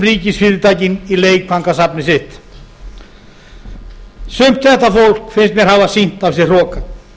ríkisfyrirtækin í leikfangasafnið sitt sumt þetta fólk finnst mér hafa sýnt af sér hroka